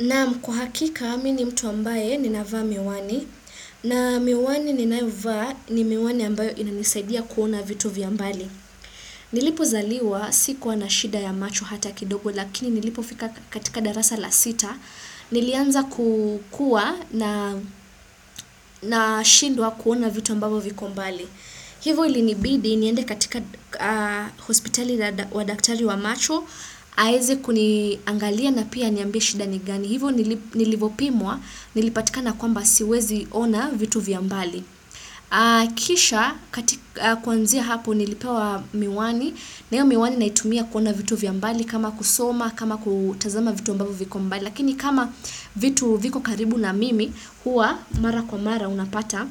Naam kwa hakika mimi ni mtu ambaye ninavaa miwani, na miwani ninayovaa ni miwani ambayo inanisaidia kuona vitu vya mbali. Nilipozaliwa sikuwa na shida ya macho hata kidogo lakini nilipofika katika darasa la sita, nilianza ku kuwa nashindwa kuona vitu ambavyo viko mbali. Hivyo ilinibidi niende katika hospitali wa daktari wa macho, aweze kuniangalia na pia aniambie shida ni gani. Hivyo nilivyopimwa, nilipatikana kwamba siwezi ona vitu vya mbali. Kisha kuanzia hapo nilipewa miwani, na hiyo miwani naitumia kuona vitu vya mbali kama kusoma, kama kutazama vitu ambavyo viko mbali. Lakini kama vitu viko karibu na mimi, huwa mara kwa mara unapata,